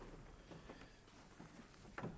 jeg